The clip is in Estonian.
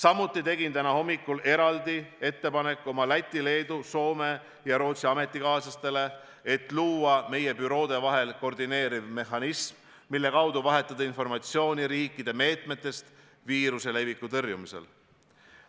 Ma tegin täna hommikul eraldi ettepaneku oma Läti, Leedu, Soome ja Rootsi ametikaaslasele, et luua meie büroode vahel koordineeriv mehhanism, mille kaudu vahetada informatsiooni riikide meetmetest viiruse leviku takistamisel.